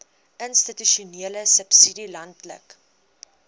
institusionele subsidie landelike